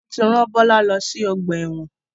Wọn tí ran Bọlá lọ sí ọgbà ẹ̀wọ̀n.